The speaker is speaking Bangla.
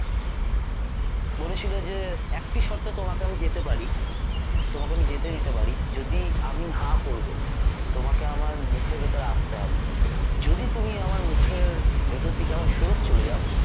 বলেছিল যে একটি শর্তে তোমাকে আমি যেতে পারি তোমাকে যেতে দিতে পারি যদি আমি হাঁ করব তোমাকে আমার মুখের ভিতরে আসতে হবে যদি তুমি আমার মুখের ভেতর থেকে আবার ফেরত চলে যাও